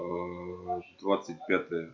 двадцать пятое